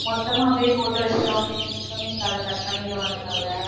மொத்தமா அப்படியே போட்டு வச்சுட்டோம் அப்படின்னா incoming call அ cut பண்ணிடுவானுங்கல்ல